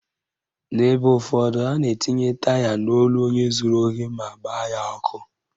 N'ebe ụfọdụ, a na-etinye taya n'olu onye zuru ohi ma gbaa ya ọkụ